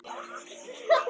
Koma upp um hana?